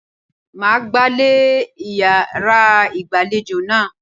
Màá gbálè yàrá ìgbàlejò náà.